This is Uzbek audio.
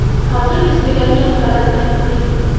Hozir yuz berayotgan holat qayg‘uli.